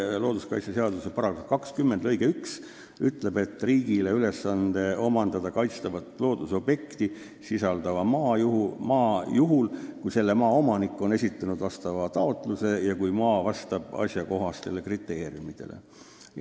Looduskaitseseaduse § 20 lõige 1 ütleb, et riigi ülesanne on omandada kaitstavat loodusobjekti sisaldav maa juhul, kui selle maa omanik on esitanud vastava taotluse ja kui maa vastab asjakohastele kriteeriumidele.